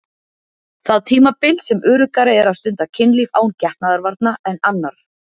Það tímabil sem öruggara er að stunda kynlíf án getnaðarvarna en annarr.